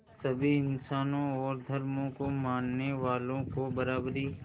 सभी इंसानों और धर्मों को मानने वालों को बराबरी